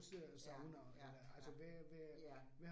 Ja, ja, ja, ja